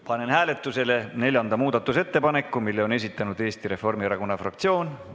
Panen hääletusele neljanda muudatusettepaneku, mille on esitanud Eesti Reformierakonna fraktsioon.